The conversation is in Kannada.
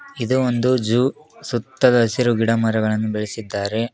ಇದು ಒಂದು ಜ್ಯೂ ಸುತ್ತದ ಹಸಿರು ಗಿಡ ಮರಗಳನ್ನು ಬೆಳೆಸಿದ್ದಾರೆ.